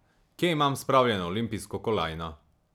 Kje imam spravljeno olimpijsko kolajno?